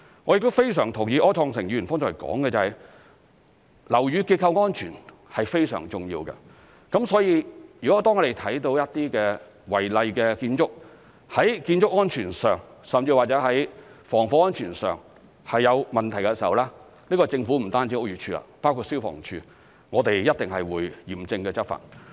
我亦非常同意柯創盛議員剛才所說，樓宇結構安全非常重要，所以當我們看到一些違例建築，在建築安全甚至防火安全上有問題的時候，不單是屋宇署，亦包括消防處，均一定會嚴正執法。